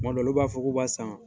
Kuma dɔw la b'a fɔ k'u b'a san.